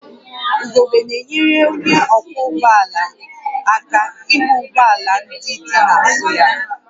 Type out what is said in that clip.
Ugogbe na-enyere onye ọkwọ ụgbọ ala aka ịhụ ụgbọ ala ndị dị n'azụ ya